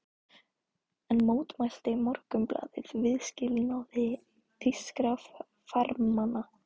Enn mótmælti Morgunblaðið viðskilnaði þýskra farmanna.